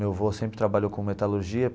Meu avô sempre trabalhou com metalurgia.